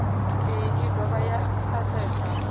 iyi i dovha ya asesa